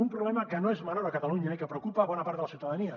un problema que no és menor a catalunya i que preocupa bona part de la ciutadania